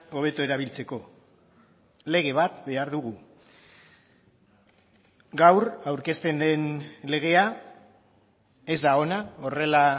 hobeto erabiltzeko lege bat behar dugu gaur aurkezten den legea ez da ona horrela